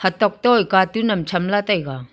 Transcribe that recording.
hatok toh a cartoon am tham la taiga.